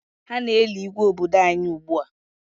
Ha na-eli Igwe obodo anyị ugbua.